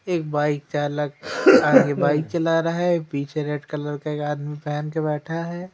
एक बाइक चालक आगे बाइक चला रहा है एक पीछे रेड कलर का एक आदमी पहन के बैठा है।